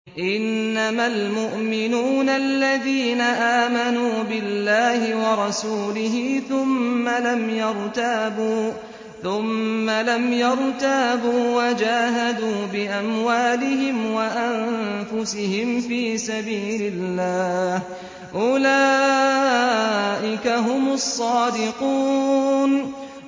إِنَّمَا الْمُؤْمِنُونَ الَّذِينَ آمَنُوا بِاللَّهِ وَرَسُولِهِ ثُمَّ لَمْ يَرْتَابُوا وَجَاهَدُوا بِأَمْوَالِهِمْ وَأَنفُسِهِمْ فِي سَبِيلِ اللَّهِ ۚ أُولَٰئِكَ هُمُ الصَّادِقُونَ